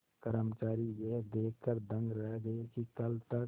कर्मचारी यह देखकर दंग रह गए कि कल तक